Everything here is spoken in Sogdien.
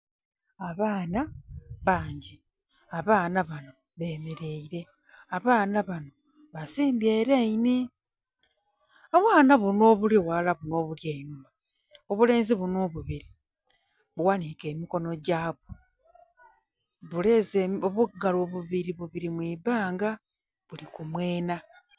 Abaana, bangi, abaana bano bemeraire, abaana bano basimbye eraini, obwana buno obuli ghalala buno obuno obuli einhuma obulenzi buno obubiri, bughanike emikono gyabwo, buleze obugalo bubiri, bubiri mu ibanga buli kumwena.